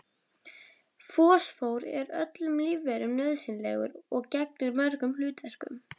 Fosfór er öllum lífverum nauðsynlegur og gegnir mörgum hlutverkum.